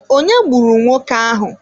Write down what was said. Onye gburu nwoke ahụ.